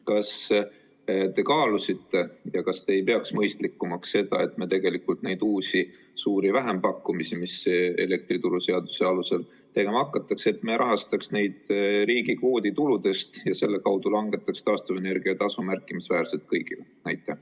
Kas te kaalusite ja kas te ei peaks mõistlikumaks seda, et me neid uusi suuri vähempakkumisi, mis elektrituruseaduse alusel tegema hakatakse, rahastaks riigi kvoodituludest ja selle kaudu langetaks taastuvenergia tasu märkimisväärselt kõigile?